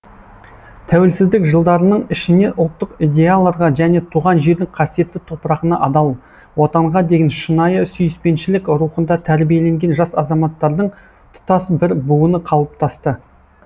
тәуелсіздік жылдарының ішіне ұлттық идеяларға және туған жердің қасиетті топырағына адал отанға деген шынайы сүйіспеншілік рухында тәрбиеленген жас азаматтардың тұтас бір буыны қалыптасты